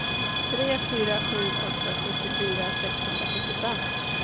tre fyra sju åtta sjuttiofyra sexhundrasjuttiofem